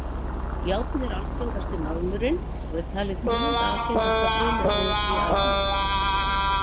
Járn er algengasti málmurinn og er talið tíunda algengasta frumefnið í alheiminum.